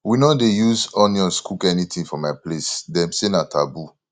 we no dey use onions cook anything for my place dem say na taboo